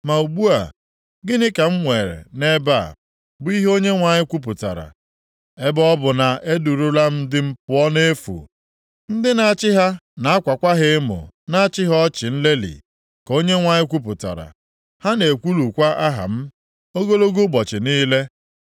“Ma ugbu a, gịnị ka m nwere nʼebe a?” bụ ihe Onyenwe anyị kwupụtara. “Ebe ọ bụ na e durula ndị m pụọ nʼefu, ndị na-achị ha na-akwakwa ha emo na-achị ha ọchị nlelị,” ka Onyenwe anyị kwupụtara. “Ha na-ekwulukwa aha m ogologo ụbọchị niile.